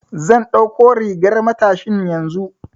Zan ɗauko rigar matashin yanzu.